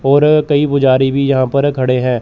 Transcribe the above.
और कई पुजारी भी यहां पर खड़े हैं।